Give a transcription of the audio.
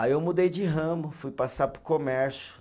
Aí eu mudei de ramo, fui passar para o comércio.